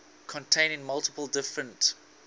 containing multiple different